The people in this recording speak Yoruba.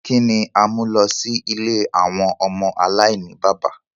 Kini a mu lọ si ìlé awọn ọmọ alainibaba?